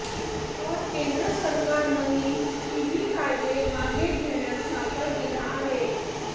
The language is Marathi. तर केंद्र सरकारनंही तिन्ही कायदे मागे घेण्यास नकार दिला आहे